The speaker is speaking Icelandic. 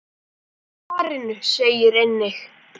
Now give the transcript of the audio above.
Í svarinu segir einnig